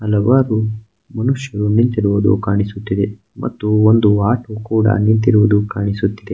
ಹಲವಾರು ಮನುಷ್ಯರು ನಿಂತಿರುವುದು ಕಾಣಿಸುತ್ತಿದೆ ಮತ್ತು ಒಂದು ಆಟೋ ಕೂಡ ನಿಂತಿರುವುದು ಕಾಣಿಸುತ್ತಿದೆ .